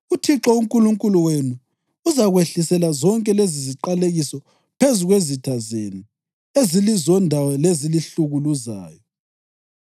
UThixo uNkulunkulu wenu uzakwehlisela zonke leziziqalekiso phezu kwezitha zenu ezilizondayo lezilihlukuluzayo.